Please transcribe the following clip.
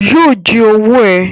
Yóò jí owó ẹ̀